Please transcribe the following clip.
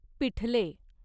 पिठले